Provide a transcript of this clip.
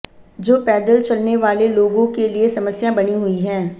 जो पैदल चलने वाले लोगों के लिए समस्या बनी हुई है